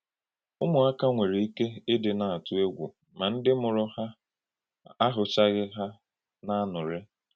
Ụ́mụ̀àkà nwere ike ídí na-àtú ègwù na ndí mùrù ha ahụ̀chàghì ha n’ànụ́rị.